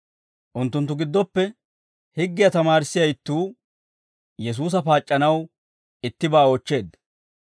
Unttunttu giddoppe higgiyaa tamaarissiyaa ittuu, Yesuusa paac'c'anaw ittibaa oochcheedda.